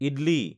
idli